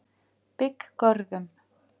Bygggörðum